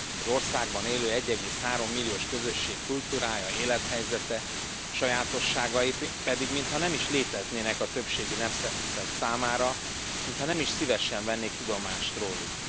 Az országban élő 1,3 milliós közösség kultúrája, élethelyzete, sajátosságai pedig mintha nem is léteznének a többségi nemzet számára, mintha nem is szívesen vennének tudomást rólunk.